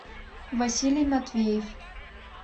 василий матвеев